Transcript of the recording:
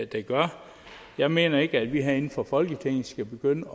der gør jeg mener ikke at vi herinde fra folketinget skal begynde